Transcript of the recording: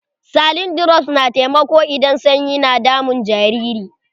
Saline drops na taimako idan sanyi na damun jariri.